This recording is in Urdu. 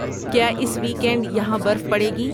کیا اس ویک اینڈ یہاں برف پڑیگی